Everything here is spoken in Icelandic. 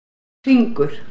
Hringur